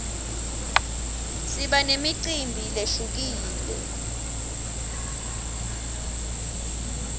siba nemicimbi lehlukile